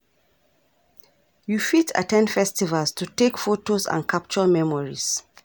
you fit at ten d festivals to take photos and capture memories.